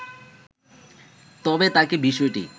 তবে তাঁকে বিষয়টি